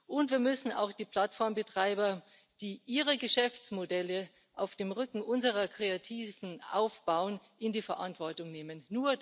Und wir müssen auch die Plattformbetreiber, die ihre Geschäftsmodelle auf dem Rücken unserer Kreativen aufbauen, in die Verantwortung nehmen.